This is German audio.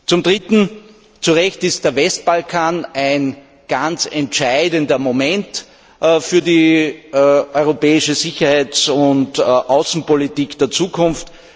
Zum Dritten Zu Recht ist der Westbalkan ein ganz entscheidendes Moment für die Europäische Sicherheits und Außenpolitik der Zukunft.